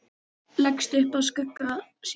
Leggst upp að skugga sínum.